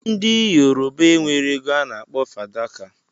ndi yoruba enwere ego ana akpọ fadaka.